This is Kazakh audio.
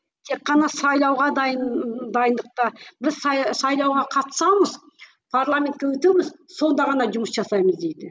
тек қана сайлауға дайын дайындыққа біз сайлауға қатысамыз парламентке өтеміз сонды ғана жұмыс жасаймыз дейді